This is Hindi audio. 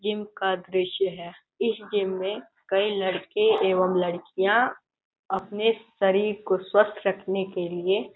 जिम का दृश्य है इस जिम में कई लड़के एवं लड़कियां अपने शरीर को स्वस्थ रखने के लिए --